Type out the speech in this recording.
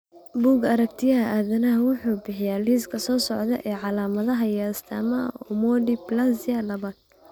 Bugga Aartigayaha Aadanaha wuxuu bixiyaa liiska soo socda ee calaamadaha iyo astaamaha Omodysplasia labaad.